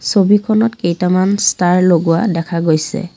ছবিখনত কেইটামান ষ্টাৰ লগোৱা দেখা গৈছে।